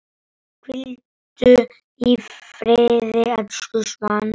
Hvíldu í friði, elsku Svana.